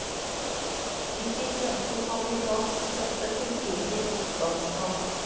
De fikk løfte om amerikansk støtte til videre motstandskamp.